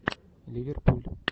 ливерпуль